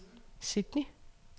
Sydney